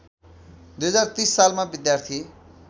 २०३० सालमा विद्यार्थी